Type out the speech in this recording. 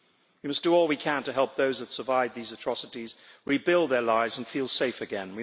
We must do all we can to help those that survive these atrocities rebuild their lives and feel safe again.